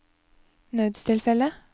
nødstilfelle